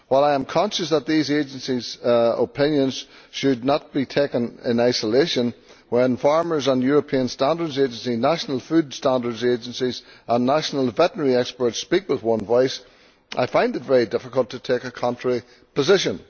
While I am conscious that these agencies' opinions should not be taken in isolation, when farmers on the European Food Standards Agency, national food standards agencies and national veterinary experts speak with one voice, I find it very difficult to take a contrary position.